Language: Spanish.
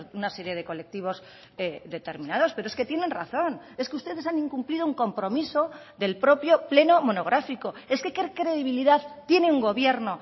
una serie de colectivos determinados pero es que tienen razón es que ustedes han incumplido un compromiso del propio pleno monográfico es que qué credibilidad tiene un gobierno